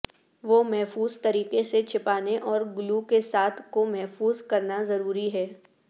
وہ محفوظ طریقے سے چھپانے اور گلو کے ساتھ کو محفوظ کرنا ضروری ہے